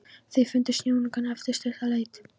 Þeir fundu sjónaukann eftir stutta leit.